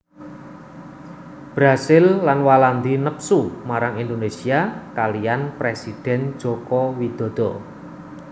Brazil lan Walandi nepsu marang Indonésia kaliyan présidèn Joko Widodo